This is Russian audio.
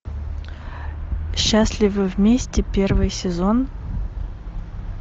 счастливы вместе первый сезон